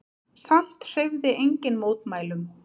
Samt hreyfði enginn mótmælum.